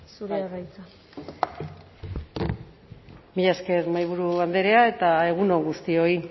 zurea da hitza bai mila esker mahaiburu andrea eta egun on guztioi